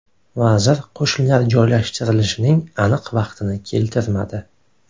Vazir qo‘shinlar joylashtirilishining aniq vaqtini keltirmadi.